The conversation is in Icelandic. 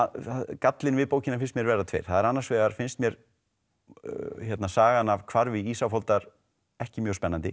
gallar við bókina finnst mér vera tveir það er annars vegar finnst mér sagan af hvarfi Ísafoldar ekki mjög spennandi